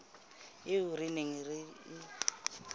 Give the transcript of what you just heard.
eo re neng re e